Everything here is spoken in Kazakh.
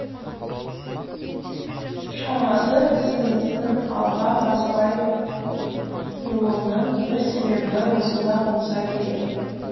шамасы ісіміздің алға баспай тұруының бір себебі осында болса керек